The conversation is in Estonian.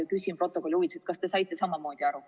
Ma küsin protokolli huvides, kas te saite samamoodi aru.